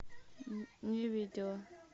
не видела